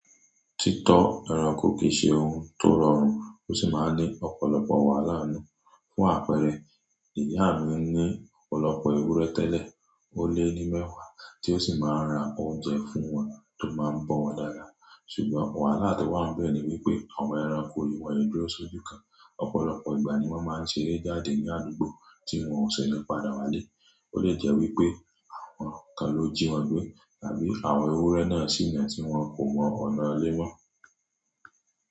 Títọ́ ẹranko kì í ṣe ohun tó rọrùn ó sì máa ń ní ọ̀pọ̀lọpọ̀ wàhálà nù. Fún àpẹẹrẹ, ìyá mi ní ọ̀pọ̀lọpọ̀ ewúrẹ́ tẹ́lẹ̀, ó lé ní mẹ́wàá tí ó sì máa ń ra oúnjẹ fún wọn tó máa ń bọ́ wọn dáadáa. Ṣùgbọ́n wàhálà tó wà níbẹ̀ ni wípé àwọn ẹranko yìí wọn e duro ṣojú kan, ọ̀pọ̀lọpọ̀ ìgbà ni wọ́n máa ń ṣeré jáde ní àdúgbò tí wọn ò ṣe ní padà wá lé. Ó lè jẹ́ wípé àwọn kan ló jí wọn gbé tàbí àwọn ewúrẹ́ náà sì nà tí wọn kò mọ ọ̀nàilé mọ́.